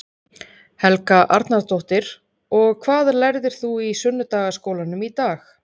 Helga Arnardóttir: Og hvað lærðir þú í sunnudagaskólanum í dag?